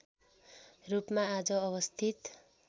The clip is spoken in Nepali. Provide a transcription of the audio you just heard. रूपमा आज अवस्थित